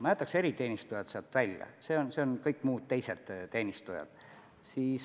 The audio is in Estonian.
Ma jätaks eriteenistujad sealt välja, see on kõik muud, teised teenistujad.